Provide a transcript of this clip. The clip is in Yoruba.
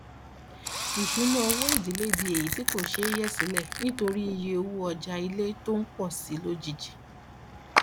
ìṣúnná owó ìdílé di èyí tí kò ṣeé yẹ sílẹ nítorí iye owó ọjà ilé tó ń pọ sí i lójijì